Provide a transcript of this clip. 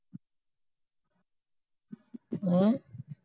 ਹਮ